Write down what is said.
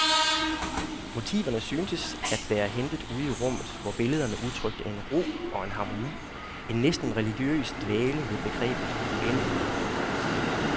Motiverne syntes at være hentet ude i rummet, hvor billederne udtrykte en ro og en harmoni, en næsten religiøs dvælen ved begrebet uendelighed.